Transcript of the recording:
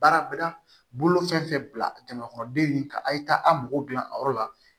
Baara bɛ da bolo fɛn fɛn bila jama kɔnɔ den in ka a' ye taa a mago dilan a yɔrɔ la